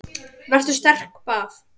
Vertu sterk- bað